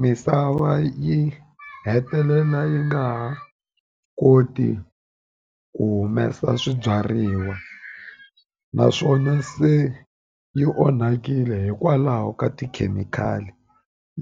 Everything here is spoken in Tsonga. Misava yi hetelela yi nga ha koti ku humesa swibyariwa naswona se yi onhakile hikwalaho ka tikhemikhali